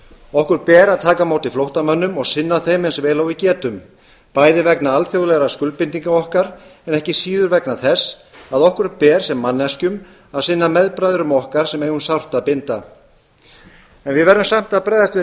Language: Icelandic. okkur ber að taka á móti flóttamönnum og sinna þeim eins vel og við getum bæði vegna alþjóðlegra skuldbindinga okkar en ekki síður vegna þess að okkur ber sem manneskjum að sinna meðbræðrum okkar sem eiga um sárt að binda við verðum samt að bregðast við